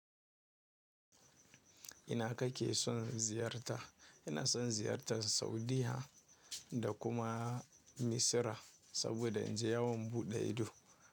Ina kake son ziyarta? Ina son ziyartar Saudiya da kuma Misira saboda in je yawon buɗe ido.